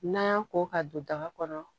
N'an y'a ko ka don daga kɔnɔ